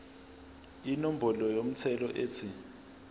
inombolo yomthelo ethi